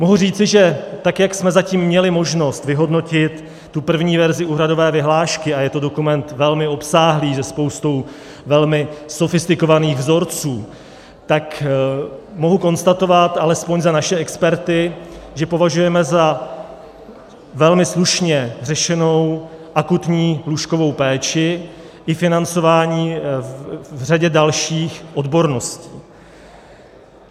Mohu říci, že tak jak jsme zatím měli možnost vyhodnotit tu první verzi úhradové vyhlášky, a je to dokument velmi obsáhlý se spoustou velmi sofistikovaných vzorců, tak mohu konstatovat alespoň za naše experty, že považujeme za velmi slušně řešenou akutní lůžkovou péči i financování v řadě dalších odborností.